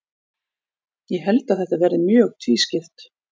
Ég held að þetta verði mjög tvískipt.